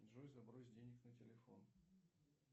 джой забрось денег на телефон